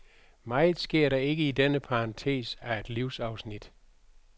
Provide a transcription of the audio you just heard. Meget sker der ikke i denne parentes af et livsafsnit.